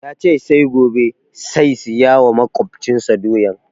Ya ce sai gobe sai saya wa maƙwabcin sa doyan